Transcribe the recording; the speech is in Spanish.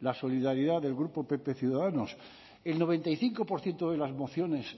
la solidaridad del grupo pp ciudadanos el noventa y cinco por ciento de las mociones